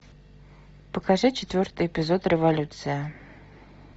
покажи четвертый эпизод революция